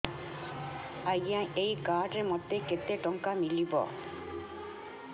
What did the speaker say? ଆଜ୍ଞା ଏଇ କାର୍ଡ ରେ ମୋତେ କେତେ ଟଙ୍କା ମିଳିବ